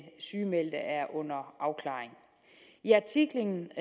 sygemeldte er under afklaring i artiklen